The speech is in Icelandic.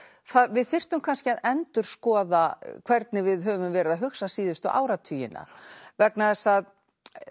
við þyrftum kannski að endurskoða hvernig við höfum verið að hugsa síðustu áratugina vegna þess að